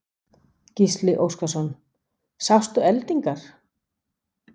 Gísli Óskarsson: Sástu eldingar?